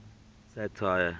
satire